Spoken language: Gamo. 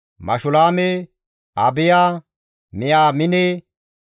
Mashulaame, Abiya, Miyaamine,